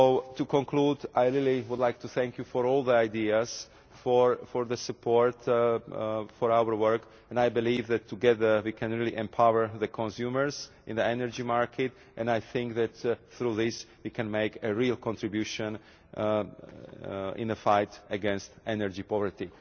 To conclude, I really would like to thank you for all the ideas, for the support for our work, and I believe that together we can really empower consumers in the energy market, and I think that through this it can make a real contribution in the fight against energy poverty.